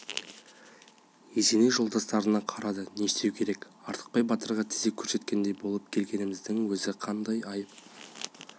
есеней жолдастарына қарады не істеу керек артықбай батырға тізе көрсеткендей болып келгеніміздің өзі қандай айып